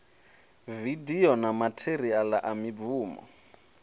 vidio na matheriala wa mibvumo